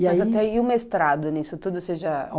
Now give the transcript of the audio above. E aí, mas até aí o mestrado nisso tudo você já